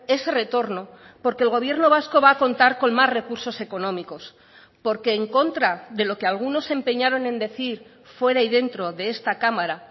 ese retorno porque el gobierno vasco va a contar con más recursos económicos porque en contra de lo que algunos se empeñaron en decir fuera y dentro de esta cámara